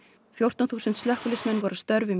fjórtán þúsund slökkviliðsmenn voru að störfum í